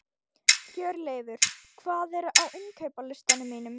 Hjörleifur, hvað er á innkaupalistanum mínum?